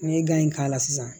N'i ye k'a la sisan